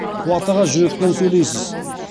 қуат аға жүрекпен сөйлейсіз